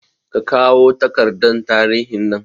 Kakawo takardar tarihin nan